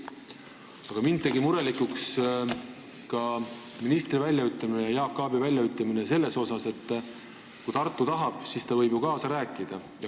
Aga mind tegi murelikuks ka minister Jaak Aabi väljaütlemine, et kui Tartu tahab, siis ta võib ju kaasa rääkida.